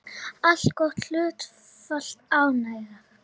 Allgott hlutfall ánægðra